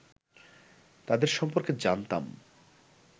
তাঁদের সম্পর্কে জানতাম